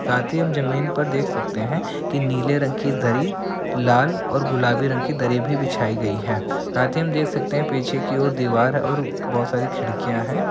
साथ ही हम जमीन पर देख सकते है कि नीले रंग की दरी लाल और गुलाबी रंग की दरी भी बिछाई गई है साथ ही हम देख सकते है पीछे की ओर दीवार और बहुत सारी खिड़कियां है।